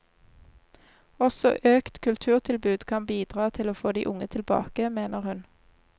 Også økt kulturtilbud kan bidra til å få de unge tilbake, mener hun.